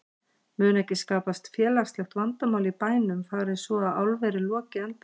Mun ekki skapast félagslegt vandamál í bænum fari svo að álverið loki endanlega?